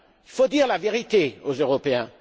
Il faut dire la vérité aux Européens.